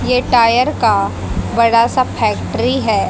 ये टायर का बड़ा सा फैक्ट्री है।